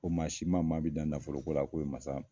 Ko maa si ma maa mi dan nafoloko la ko ye masa